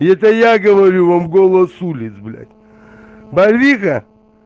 это я говорю вам голос улиц блять барвиха